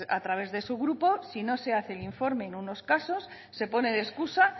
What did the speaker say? a través de su grupo si no se hace el informe en unos casos se pone de excusa